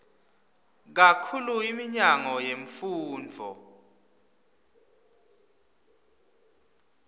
kakhulu iminyango yemfundvo